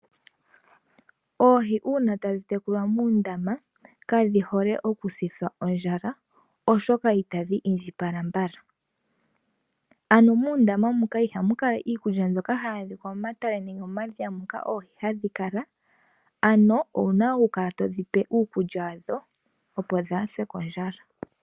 Oohi uuna tadhi tekulwa muundama, kadhi hole oku sithwa ondjala oshoka itadhi indjipala mbala . Ano muundama muka ihamu adhika iikulya mbyoka hayi kala muundama nenge momatale nenge momadhiya moka oohi hadhi kala ano owuna okukala todhipe uukulya wadho opo kadhise kondjala.